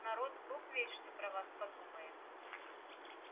народ бог весть что про вас подумает